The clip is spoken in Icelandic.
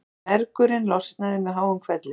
Mergurinn losnaði með háum hvelli.